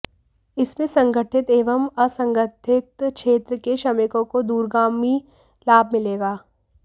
इससे संगठित एवं असंगठित क्षेत्र के श्रमिकों को दूरगामी लाभ मिलेगा